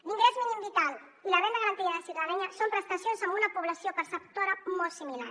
l’ingrés mínim vital i la renda garantida de ciutadania són prestacions amb una població perceptora molt similar